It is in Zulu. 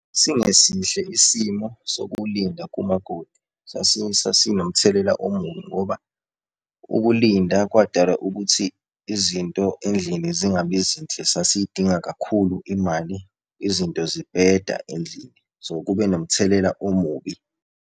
Sasingesihle isimo sokulinda kumakoti, sasinomthelela omubi ngoba ukulinda kwadala ukuthi izinto endlini zingabi zinhle, sasiyidinga kakhulu imali, izinto zibheda endlini. So, kube nomthelela omubi.